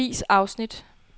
Vis afsnit.